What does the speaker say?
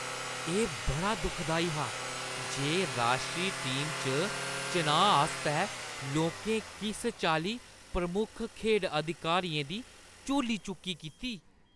एह् बड़ा दुखदाई हा जे राश्ट्री टीम च चुनाऽ आस्तै लोकें किस चाल्ली प्रमुख खेढ़ अधिकारियें दी झोली-चुक्की कीती।